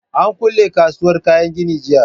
An kule kasuwar kayan gini jiya